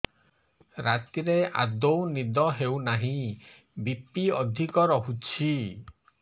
ରାତିରେ ଆଦୌ ନିଦ ହେଉ ନାହିଁ ବି.ପି ଅଧିକ ରହୁଛି